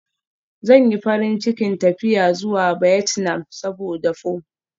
Zan yi farin cikin tafiya zuwa Vietnam saboda pho.